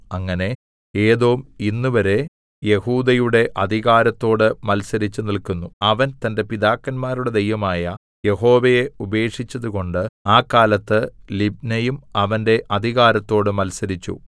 അങ്ങനെ ഏദോം ഇന്നുവരെ യെഹൂദയുടെ അധികാരത്തോട് മത്സരിച്ചു നില്ക്കുന്നു അവൻ തന്റെ പിതാക്കന്മാരുടെ ദൈവമായ യഹോവയെ ഉപേക്ഷിച്ചതുകൊണ്ട് ആ കാലത്ത് ലിബ്നയും അവന്റെ അധികാരത്തോട് മത്സരിച്ചു